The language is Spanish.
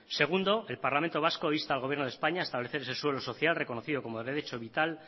segundo el parlamento vasco insta al gobierno de españa a establecer ese suelo social reconocido como derecho vital